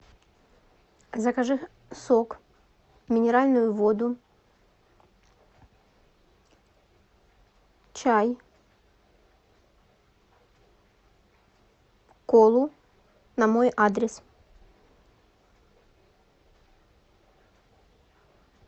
закажи сок минеральную воду чай колу на мой адрес